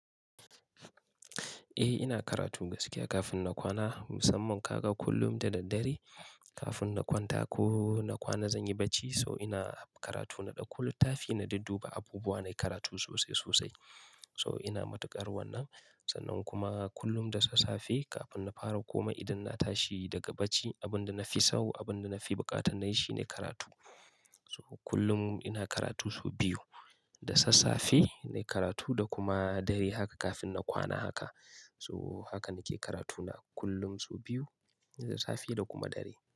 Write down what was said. Eh, ina karatu gaskiya kafin na kwana. Musamman kaga kullum da dare kafin na kwanta ko na kwana zan yi bacci, so ina karatu na ɗauko littafi na dudduba abubuwa na karatu sosai sosai. So ina matuƙar wannan. Sannan kuma kullum da sassafe kafin na fara komai idan na tashi daga bacci, abin da na fi so, abin da na fi buƙata na yi shine karatu. So kullum ina karatu so biyu, da sassafe na yi karatu da kuma dare haka kafin na kwana haka. So haka nake karatu na kullum so biyu, da sassafe da kuma dare.